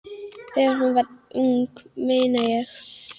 Þegar hún var ung, meina ég.